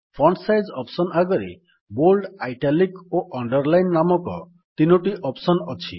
font size option ଆଗରେ bold italic ଓ underline ନାମକ ତିନୋଟି ଅପ୍ସନ୍ ଅଛି